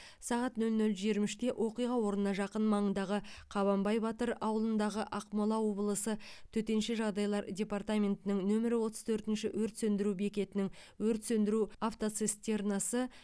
сағат нөл нөл жиырма үште оқиға орнына жақын маңдағы қабанбай батыр ауылындағы ақмола облысы төтенше жағдайлар департаментінің нөмірі отыз төртінші өрт сөндіру бекетінің өрт сөндіру автоцистернасы